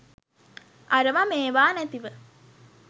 අරව මේවා නැතිව